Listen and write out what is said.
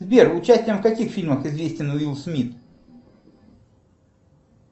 сбер участием в каких фильмах известен уилл смит